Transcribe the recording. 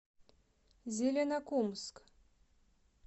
зеленокумск